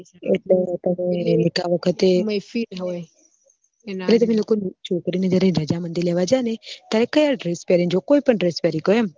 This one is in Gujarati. એટલે નીકા વખતે છોકરી ની જયારે રજામંદી લેવા જાયે ને ત્યારે કયા dress પેરી ને જો કોઈ પણ dress પેરી કો એમ